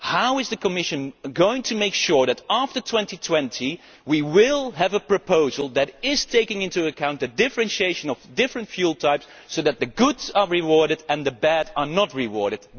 How is the Commission going to make sure that after 2020 we will have a proposal that takes into account the differentiation between different fuel types so that the good ones are rewarded and the bad ones are not rewarded?